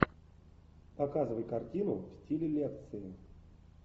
показывай картину в стиле лекции